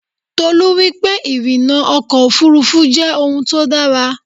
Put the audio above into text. Tolú wípé ìrìnnà ọkọ̀ Òfurufú jẹ́ òun tó dára.